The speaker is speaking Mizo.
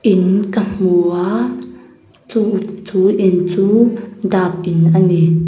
in ka hmu a chu in chu dap in ani.